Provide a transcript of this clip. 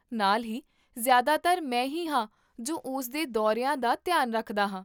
ਨਾਲ ਹੀ, ਜਿਆਦਾਤਰ ਮੈਂ ਹੀ ਹਾਂ ਜੋ ਉਸ ਦੇ ਦੌਰਿਆਂ ਦਾ ਧਿਆਨ ਰੱਖਦਾ ਹਾਂ